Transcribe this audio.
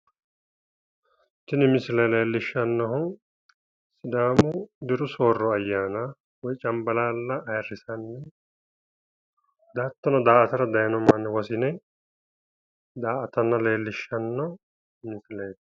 Tini misile leellishshannohu sidaamu diru soorro ayyana woyi cambalaalla ayirrissano. Hattono daa"atara dayino manni wosini daa"atanna leellishshanno misileeti.